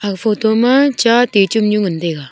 aga photo ma cha titung nyu ngan taiga.